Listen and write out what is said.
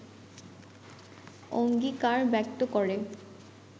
অঙ্গীকার ব্যক্ত করে